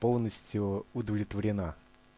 полностью удовлетворена